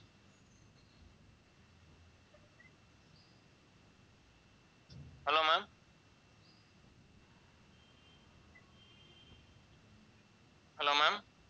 hello ma'am